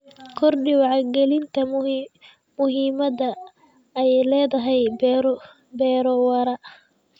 Kordhi wacyigelinta muhiimadda ay leedahay beero waara.